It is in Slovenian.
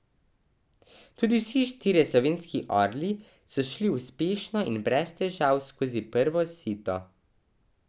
Tudi vsi štirje slovenski orli so šli uspešno in brez težav skozi prvo sito.